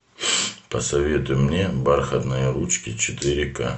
посоветуй мне бархатные ручки четыре ка